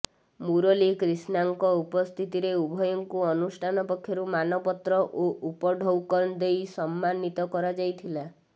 ମୂରଲୀ କ୍ରୀଷ୍ଣାଙ୍କ ଉପସ୍ଥିତିରେ ଉଭୟଙ୍କୁ ଅନୁଷ୍ଠାନ ପକ୍ଷରୁ ମାନପତ୍ର ଓ ଉପଢୌକନ ଦେଇ ସମ୍ମାନୀତ କରାଯାଇଥିଲା